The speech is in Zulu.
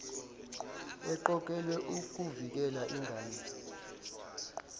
eqokelwe ukuvikela ingane